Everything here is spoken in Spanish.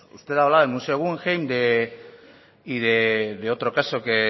usted hablaba del museo guggenheim y de otro caso que